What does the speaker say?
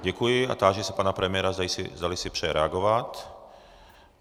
Děkuji a táži se pana premiéra, zdali si přeje reagovat.